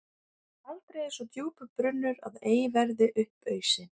Aldrei er svo djúpur brunnur að ei verði upp ausinn.